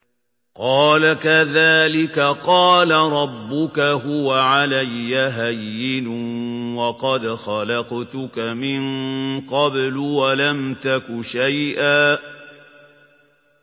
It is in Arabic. قَالَ كَذَٰلِكَ قَالَ رَبُّكَ هُوَ عَلَيَّ هَيِّنٌ وَقَدْ خَلَقْتُكَ مِن قَبْلُ وَلَمْ تَكُ شَيْئًا